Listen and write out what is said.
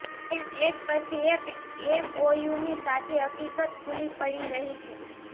તેમ એક પછી એક એમઓયુની સાચી હકીકત ખુલ્લી પડી રહી છે